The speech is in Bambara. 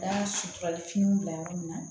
Da sutura finiw bila yɔrɔ min na